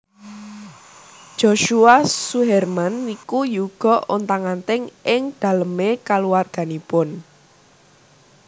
Joshua Suherman niku yuga ontang anting ing dalem e kaluwarganipun